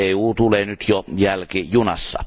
EU tulee nyt jo jälkijunassa.